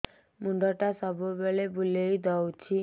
ମୁଣ୍ଡଟା ସବୁବେଳେ ବୁଲେଇ ଦଉଛି